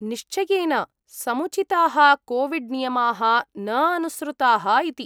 निश्चयेन समुचिताः कोविड्नियमाः न अनुसृताः इति।